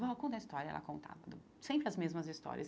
Vó conta história, ela contava sempre as mesmas histórias.